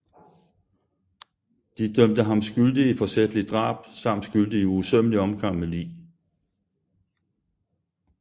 De dømte ham skyldig i forsætligt drab samt skyldig i usømmelig omgang med lig